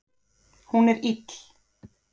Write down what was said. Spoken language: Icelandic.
Hún er ill.